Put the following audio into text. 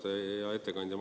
Hea ettekandja!